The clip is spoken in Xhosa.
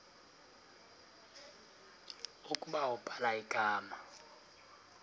ukuba ubhala igama